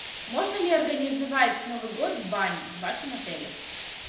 можно ли организовать новый год в бане в вашем отеле